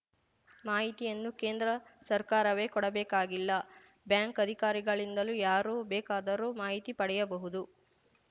ಮಾಹಿತಿಯನ್ನು ಕೇಂದ್ರ ಸರ್ಕಾರವೇ ಕೊಡಬೇಕಾಗಿಲ್ಲ ಬ್ಯಾಂಕ್‌ ಅಧಿಕಾರಿಗಳಿಂದಲೂ ಯಾರು ಬೇಕಾದರೂ ಮಾಹಿತಿ ಪಡೆಯಬಹುದು